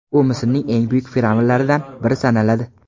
U Misrning eng buyuk fir’avnlaridan biri sanaladi.